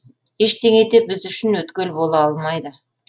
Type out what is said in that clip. ештеңе де біз үшін өткел бола алмайды